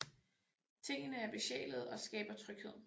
Tingene er besjælede og skaber tryghed